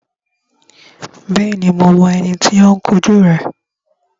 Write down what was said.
Bẹ́ẹ̀ni, mo mọ ẹni tí ó ń kun jú rẹ